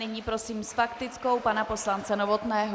Nyní prosím s faktickou pana poslance Novotného.